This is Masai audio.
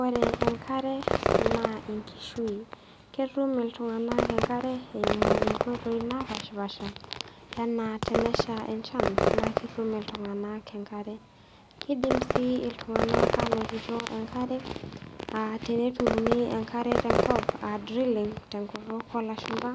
Ore enkare naa enkishui. Ketum iltung'ana engare eimu inkoiti naapaashipaasha anaa tenesha enchan, naa ketum iltung'ana enkare. Kidim sii iltung'ana anotito enkare aa teneturuni enkare tenkop a drilling te nkutuk olashumba